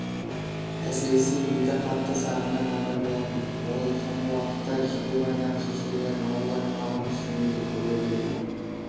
әсіресе елді қатты сағынған абай болатын ол соңғы уақытта жидебайдағы шешелерін ауыл-аймағын түсінде де көре беретін